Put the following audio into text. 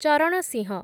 Charan Singh